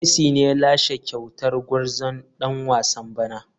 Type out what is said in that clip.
Messi ne ya lashe kyautar gwarzon dan wasan bana.